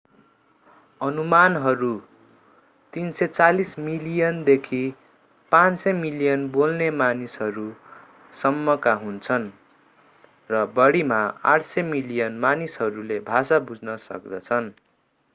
अनुमानहरू 340 मिलियनदेखि 500 मिलियन बोल्ने मानिसहरू सम्मका हुन्छन् र बढिमा 800 मिलियन मानिसहरूले भाषा बुझ्न सक्दछन्